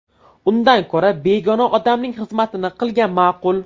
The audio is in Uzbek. Undan ko‘ra begona odamning xizmatini qilgan ma’qul.